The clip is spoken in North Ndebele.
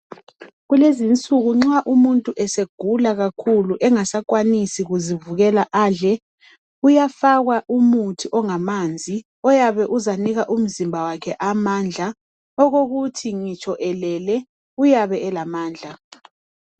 Kulezinsuku nxa umuntu esegula kakhulu engasakwanisi kuzivukela adle, uyafakwa umuthi ongamanzi oyabe uzanika umzimba wakhe amandla okuthi ngitsho elele, uyabe elamandla.